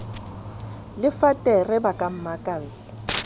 le fatere ba ka mmakalla